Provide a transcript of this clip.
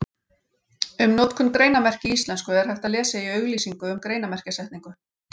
Um notkun greinarmerkja í íslensku er hægt að lesa í auglýsingu um greinarmerkjasetningu.